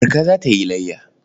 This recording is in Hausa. Marka za ta yi layya.